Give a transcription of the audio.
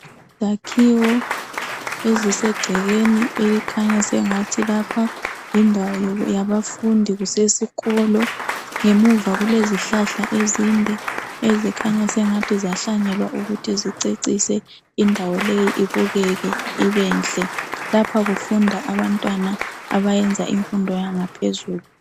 Izakhiwo ezise gcekeni elikhanya sengathi lapha yindawo yabafundi, kusesikolo. Ngemuva kulezihlahla ezinde ezikhanya sengathi zahlanyelwa ukuthi zicecise indawo leyi ibukeke ibenhle. Lapha kufunda abantwana abayenza imfundo yangaphezulu.